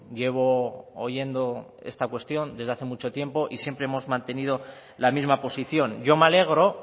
llevo oyendo esta cuestión desde hace mucho tiempo y siempre hemos mantenido la misma posición yo me alegro